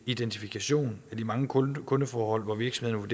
identifikation af de mange kundeforhold hvor virksomhederne